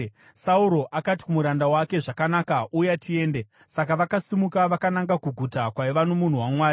Sauro akati kumuranda wake, “Zvakanaka, uya tiende.” Saka vakasimuka vakananga kuguta kwaiva nomunhu waMwari.